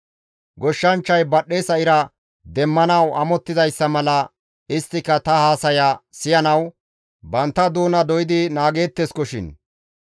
Goshshanchchay badhdhesa ira demmanawu amottizayssa mala isttika ta haasaya siyanawu bantta doona doydi naageetteskoshin.